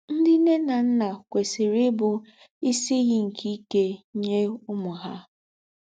Ńdị́ ńne ná ńnà kwèsìrì íbù ísì ìyì nke íkè nyé úmù hà.